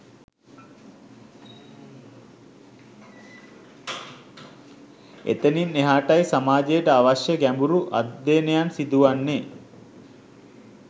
එතනින් එහාටයි සමාජයට අවශ්‍ය ගැඹුරු අධ්‍යයනයන් සිදුවන්නේ